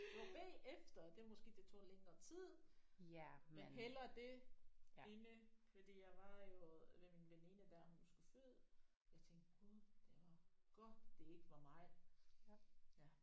Og bagefter det måske det tog længere tid men hellere det inde fordi jeg var jo ved min veninde da hun skulle føde jeg tænkte gud det var godt det ikke var mig ja